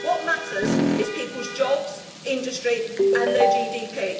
What matters is people's jobs, industry and their GDP.